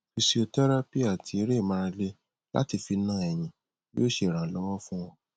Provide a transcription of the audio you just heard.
physiotherapy ati ere imarale lati fi na eyin yoo se iranlowo fun o